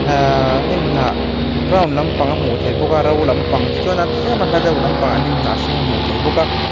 ahh hnim hnah brown lampang a hmuh theih bawk a ro lampang tichuan tlem a hla deuh lampangah hnim hnah hring a hmuh theih bawk a.